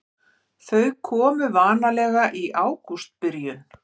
Þau komu vanalega í ágústbyrjun.